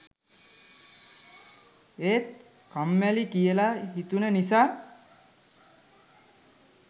ඒත් කම්මැලි කියලා හිතුන නිසා